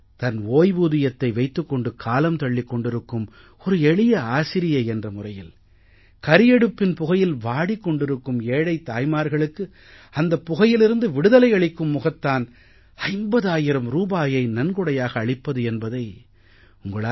தன் ஓய்வூதியத்தை வைத்துக் கொண்டு காலம் தள்ளிக் கொண்டிருக்கும் ஒரு எளிய ஆசிரியை என்ற முறையில் கரியடுப்பின் புகையில் வாடிக் கொண்டிருக்கும் ஏழைத் தாய்மார்களுக்கு அந்தப் புகையிலிருந்து விடுதலை அளிக்கும் முகத்தான் 50000 ரூபாயை நன்கொடையாக அளிப்பது என்பதை உங்களால்